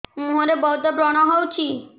ମୁଁହରେ ବହୁତ ବ୍ରଣ ହଉଛି